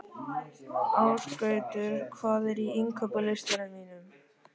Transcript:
Ásgautur, hvað er á innkaupalistanum mínum?